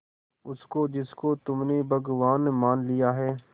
उसको जिसको तुमने भगवान मान लिया है